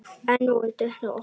Enn voru dyrnar opnar.